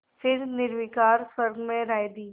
फिर निर्विकार स्वर में राय दी